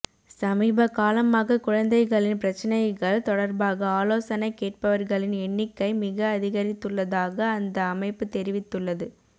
சமீப காலமாக குழந்தைகளின் பிரச்சினைகள் தொடர்பாக ஆலோசனை கேட்பவர்களின் எண்ணிக்கை மிக அதிகரித்துள்ளதாக அந்த அமைப்பு தெரிவித்துள்ளது